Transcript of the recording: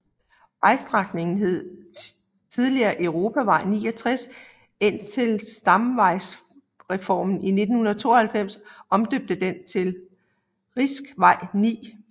Vejstrækningen hed tidligere europavej 69 indtil stamvejsreformen i 1992 omdøbte den til riksvei 9